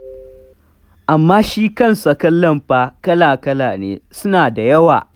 Amma shi kansa kallon fa, kala-lala ne, suna da yawa.